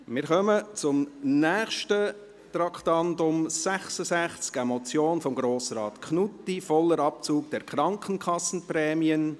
Wir kommen zum nächsten Traktandum, dem Traktandum 66, einer Motion von Grossrat Knutti: «Voller Abzug der Krankenkassenprämien».